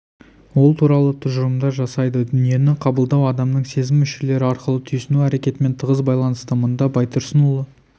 ол туралы тұжырымдар жасайды дүниені қабылдау адамның сезім мүшелері арқылы түйсіну әрекетімен тығыз байланысты мұнда байтұрсынұлы